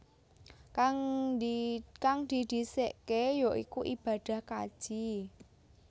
Kang didhisikké ya iku ibadah kaji